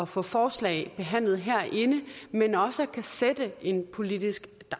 få forslag behandlet herinde men også kunne sætte en politisk